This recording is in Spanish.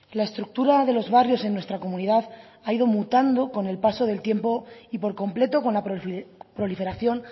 la estructura de los barrios en nuestra comunidad ha ido mutando con el paso del tiempo y por completo con la proliferación